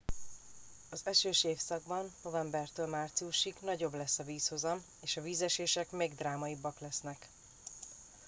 az esős évszakban novembertől márciusig nagyobb lesz a vízhozam és a vízesések még drámaibbak lesznek